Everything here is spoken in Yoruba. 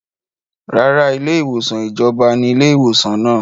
Rárá, ilé ìwòsàn ìjọba ní ilé ìwòsàn náà